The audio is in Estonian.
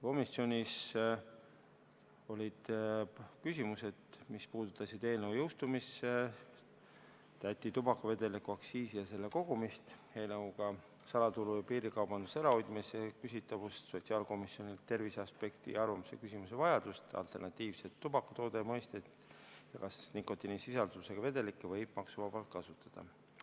Komisjonis olid küsimused, mis puudutasid eelnõu jõustumist, tubakavedeliku aktsiisi ja selle kogumist, eelnõuga salaturu ja piirikaubanduse ärahoidmise küsitavust, sotsiaalkomisjonilt terviseaspekti kohta arvamuse küsimise vajadust, alternatiivsete tubakatoodete mõisteid ja seda, kas nikotiinisisaldusega vedelikke võib maksuvabalt kasutada.